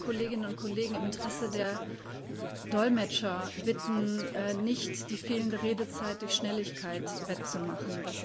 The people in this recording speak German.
Darf ich nur die Kolleginnen und Kollegen im Intersse der Dolmetscher bitten, nicht die fehlende Redezeit durch Schnelligkeit wettzumachen.